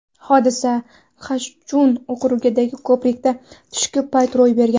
Hodisa Xanchjun okrugidagi ko‘prikda, tushki payt ro‘y bergan.